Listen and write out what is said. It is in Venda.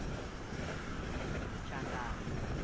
tshandama